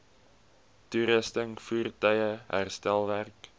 toerusting voertuie herstelwerk